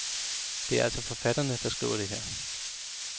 Det er altså forfatterne, der skriver det her.